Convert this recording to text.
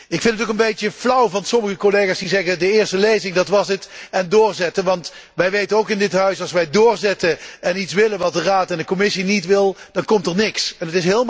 Ik vind het ook een beetje flauw van sommige collega's, die zeggen, de eerste lezing, dat was het en nu doorzetten, want wij weten ook in dit Huis dat als wij doorzetten en iets willen wat de Raad en de Commissie niet willen, er dan niks van komt.